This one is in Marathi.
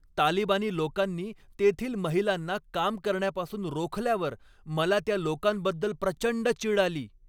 तालिबानी लोकांनी तेथील महिलांना काम करण्यापासून रोखल्यावर मला त्या लोकांबद्दल प्रचंड चीड आली.